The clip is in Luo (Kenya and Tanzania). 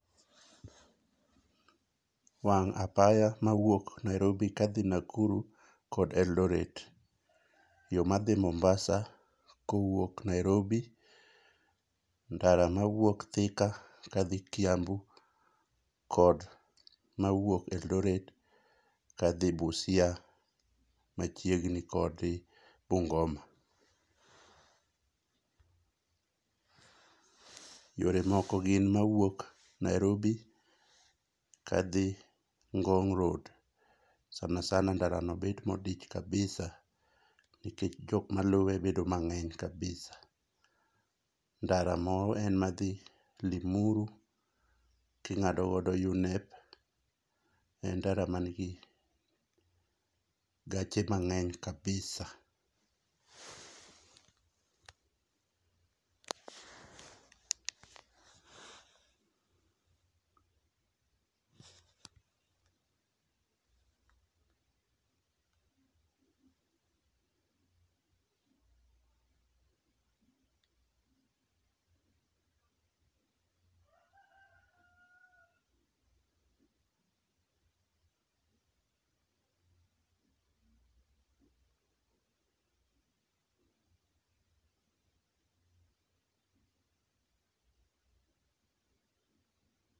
Wang apaya mawuok Nairobi kadhi Nakuru kod Eldoret, yoo madhi mombasa kowuok Nairobi ,ndara mawuok Thika kadhi Kiambu kod mawuok Eldoret kadhi Busia machiegni kodi Bungoma. Yore moko gin mawuok Nairobi kadhi Ngong' road sana sana ndara no bet modich kabisa nikech jok maluwe bedo mang'eny kabisa. Ndara moro en madhi Limuru kingado godo Unep en ndara manigi gache mang'eny kabisa.